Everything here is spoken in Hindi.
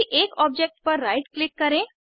किसी एक ऑब्जेक्ट पर राइट क्लिक करें